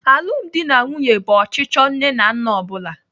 Alụmdi na nwunye bụ ọchịchọ nne na nna ọ bụla.